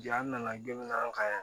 Jaa nana gan ka